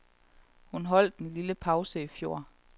Hun holdt en lille pause i fjor.